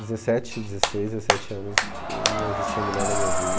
Dezessete, dezesseis, dezessete anos não não existia mulher na minha vida.